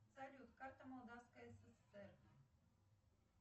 салют карта молдавская ссср